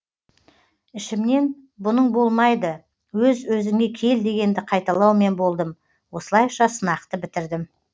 ішімнен бұның болмайды өз өзіңе кел дегенді қайталаумен болдым осылайша сынақты бітірдім